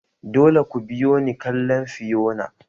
Dole ku biyo ni kallon Fiyona!